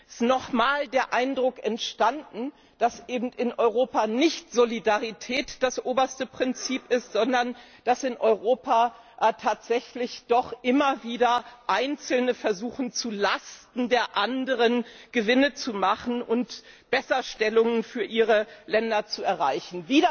Es ist nochmals der Eindruck entstanden, dass in Europa eben nicht Solidarität das oberste Prinzip ist, sondern dass in Europa tatsächlich doch immer wieder Einzelne versuchen, zu Lasten der Anderen Gewinne zu machen und Besserstellungen für ihre Länder zu erreichen.